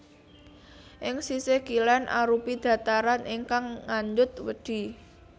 Ing sisih kilén arupi dhataran ingkang ngandhut wedhi